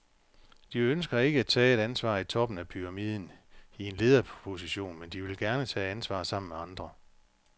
De ønsker ikke at tage et ansvar i toppen af pyramiden, i en lederposition, men de vil gerne tage ansvar sammen med andre.